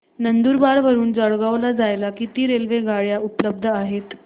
नंदुरबार वरून जळगाव ला जायला किती रेलेवगाडया उपलब्ध आहेत